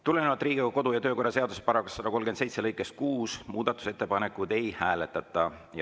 Tulenevalt Riigikogu kodu‑ ja töökorra seaduse § 137 lõikest 6 muudatusettepanekuid ei hääletata.